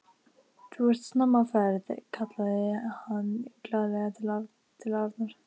Þú ert snemma á ferð! kallaði hann glaðlega til Arnar.